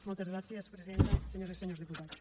moltes gràcies presidenta senyores i senyors diputats